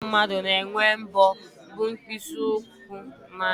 Nanị akụkụ ahụ mmadụ na-enwe mbọ bụ mkpịsị ụkwụ na aka